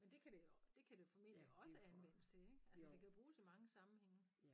Men det kan det det kan det jo formentlig også anvendes til ik. Altså det kan bruges i mange sammenhænge